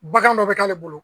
Bagan dɔ bɛ k'ale bolo